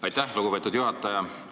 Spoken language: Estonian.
Aitäh, lugupeetud juhataja!